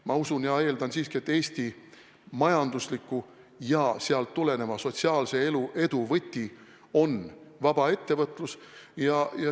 Ma usun ja eeldan siiski, et Eesti majandusliku edu ja sellest tuleneva sotsiaalse edu võti on vaba ettevõtlus.